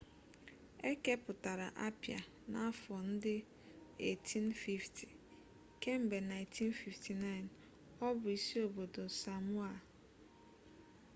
e kepụtara apịa n'afọ ndị 1850 kemgbe 1959 ọ bụ isi obodo samoa